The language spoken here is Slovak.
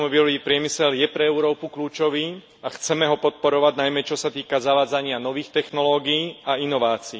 Automobilový priemysel je pre Európu kľúčový a chceme ho podporovať, najmä čo sa týka zavádzania nových technológií a inovácií.